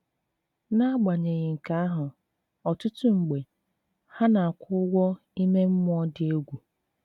N'agbanyeghị nke ahụ, ọtụtụ mgbe, ha na-akwụ ụgwọ ime mmụọ dị egwu.